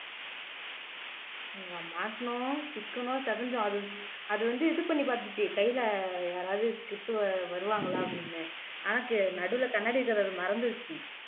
ஆமா மாட்டுனோம் சிக்கணும் சிதைஞ்சோம் அது அது வந்து இது பண்ணிப் பாத்துச்சு கையிலே யாராவது கிட்டு வருவாங்களா அப்படின்னு ஆனா நடுவுல கண்ணாடி இருக்கறத மறந்துருச்சு